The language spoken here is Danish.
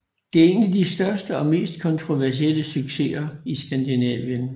Det er en af de største og mest kontroversielle succeser i Skandinavien